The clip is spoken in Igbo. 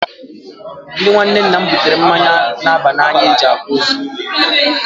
Ndị ụmụ nwanne nna m butere mmanya na-aba n'anya nke e ji akwa ozu.